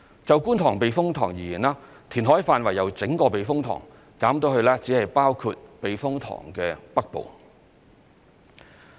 就觀塘避風塘而言，填海範圍由整個避風塘減至只包括避風塘的北部。